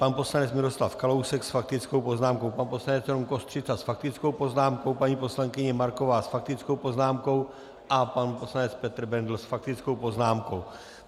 Pan poslanec Miroslav Kalousek s faktickou poznámkou, pan poslanec Rom Kostřica s faktickou poznámkou, paní poslankyně Marková s faktickou poznámkou a pan poslanec Petr Bendl s faktickou poznámkou.